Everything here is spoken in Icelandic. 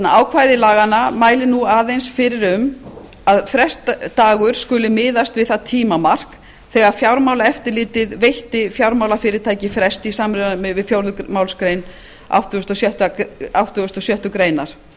ákvæði laganna mælir nú aðeins fyrir um að frestdagur skuli miðast við það tímamark þegar fjármálaeftirlitið veitti fjármálafyrirtæki frest í samræmi við fjórðu málsgreinar áttugustu og sjöttu grein